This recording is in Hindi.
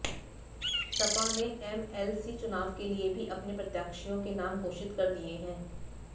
सपा ने एमएलसी चुनाव के लिए भी अपने प्रत्याशियों के नाम घोषित कर दिए हैं